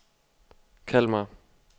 Kalmar